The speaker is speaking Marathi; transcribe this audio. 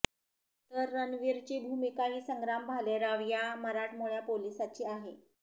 तर रणवीरची भूमिकाही संग्राम भालेराव या मराठमोळ्या पोलिसाची आहे